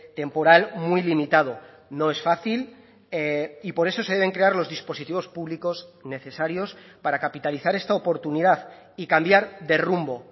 temporal muy limitado no es fácil y por eso se deben crear los dispositivos públicos necesarios para capitalizar esta oportunidad y cambiar de rumbo